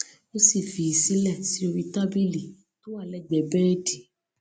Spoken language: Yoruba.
ó sì fi í sílẹ sí orí tábìlì tó wà lẹgbẹẹ bẹẹdì